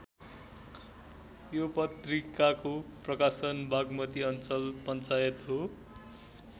यो पत्रिकाको प्रकाशक वाग्मती अञ्चल पञ्चायत हो।